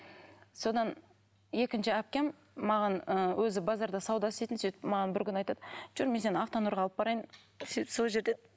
содан екінші әпкем маған ы өзі базарда сауда істейтін сөйтіп маған бір күні айтады жүр мен сені автонұрға алып барайын сөйтіп сол жерде